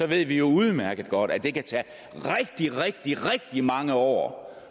vi ved jo udmærket godt at det kan tage rigtig rigtig mange år